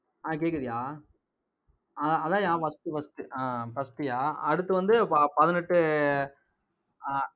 ஆஹ் கேட்குதுயா ஆஹ் அதான்யா first first ஆஹ் first யா அடுத்து வந்து, ப~ பதினெட்டு ஆஹ்